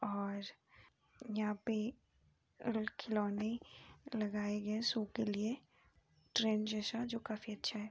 और यहाँ पर खिलौने लगाए गए हैं शो के लिए ट्रेन जैसा जो काफी अच्छा है।